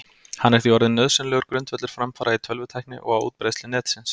Hann er því orðinn nauðsynlegur grundvöllur framfara í tölvutækni og á útbreiðslu Netsins.